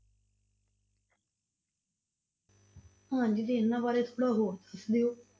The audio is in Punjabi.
ਹਾਂਜੀ ਤੇ ਇਹਨਾਂ ਬਾਰੇ ਥੋੜ੍ਹਾ ਹੋਰ ਦੱਸ ਦਿਓ।